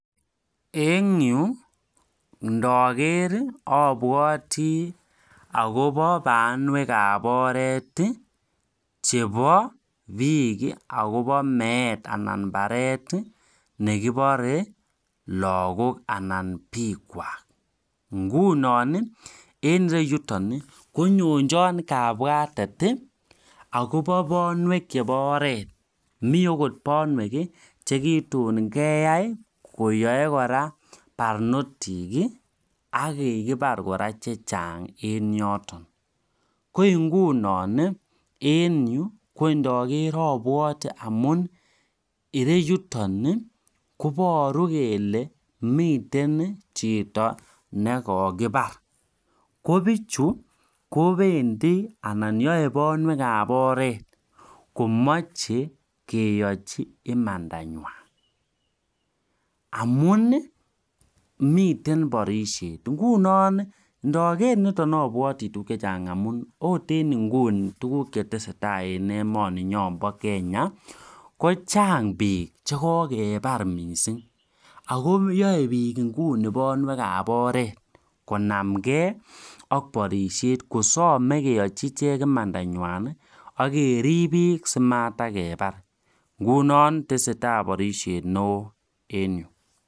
En yu ndager abwoti akobo banwek an oret akobo bik akobo meet ako baret ab lakok anan ko bik kwaak en Yiu konyonjono kabwatet akobo banwek ab oret ako en Yiu konyonjono banwek chekitun keyai koyaei barnotik akokikibar kora chechang ako yu ikerei kora kole mitei chito nekikibar kobichu kobendi akwai banwek ab oret komuche keyochi imanda nywa amun miten barishet ndager niton kotesetai tukun chechang akochang bik chekokebar mising akomeche bik Keachi Manda nywa